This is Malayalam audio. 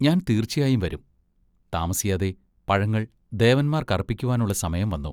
ഞാൻ തീർച്ചയായും വരും. താമസിയാതെ പഴങ്ങൾ ദേവന്മാർക്കർപ്പിക്കുവാനുള്ള സമയം വന്നു.